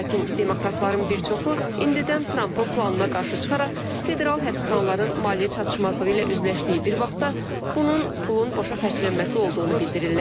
Lakin demokratların bir çoxu indidən Trampın planına qarşı çıxaraq, federal həbsxanaların maliyyə çatışmazlığı ilə üzləşdiyi bir vaxtda bunun pulun boşa xərclənməsi olduğunu bildirirlər.